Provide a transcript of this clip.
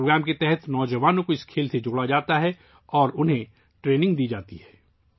اس programme کے تحت نوجوانوں کو اس کھیل سے جوڑا جاتا ہے اور انہیں تربیت دی جاتی ہے